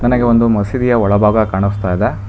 ನನಗೆ ಒಂದು ಮಸೀದಿಯ ಒಳಭಾಗ ಕಾಣಿಸ್ತಾಯಿದೆ.